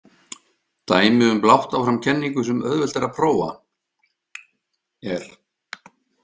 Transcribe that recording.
Dæmi um blátt áfram kenningu sem auðvelt er að prófa er.